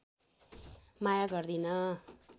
माया गर्दिन